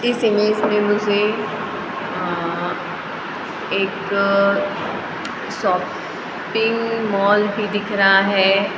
इस इमेज में मुझे अं अ एक शॉ पिंग मॉल भी दिख रहा है।